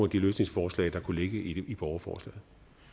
de løsningsforslag der kunne ligge i borgerforslaget